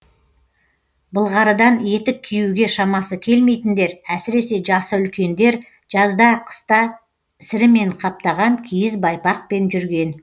былғарыдан етік киюге шамасы келмейтіндер әсіресе жасы үлкендер жазда қыста сірімен қаптаған киіз байпақпен жүрген